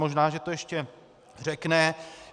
Možná že to ještě řekne.